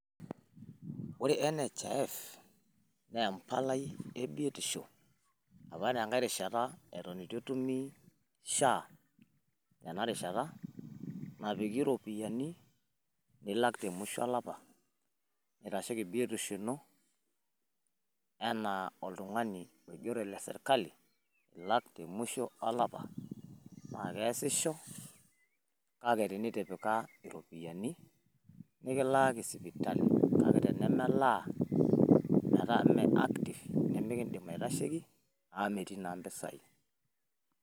Ore NHIF naa empalai e biotisho opa tenkae rishata eton eitu etumi SHA tenarishata, napiki ropiyiani nilak temusho olapa neitasheiki biotisho ino anaa oltung'ani oigero leserkali ilak temusho olapa. Naa keesisho kake tenitipika iropiyiani nikilaaki sipitali, kake tenemelaa metaa mee active nimikindim aitasheiki amu metii naa mpisai.